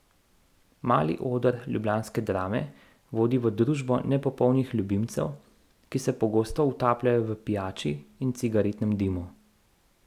Mali oder ljubljanske Drame vodi v družbo nepopolnih ljubimcev, ki se pogosto utapljajo v pijači in cigaretnem dimu.